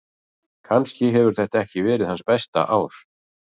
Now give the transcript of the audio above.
Kannski hefur þetta ekki verið hans besta ár.